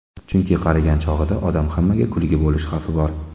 Chunki qarigan chog‘ida odam hammaga kulgi bo‘lish xavfi bor.